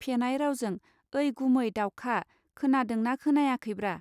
फेनाय रावजों ओइ गुमै दाउखा खोनांदों ना खोनायाखैब्रा.